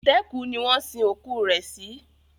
Itẹ́kù ni wọn sin òkú rẹ̀ sí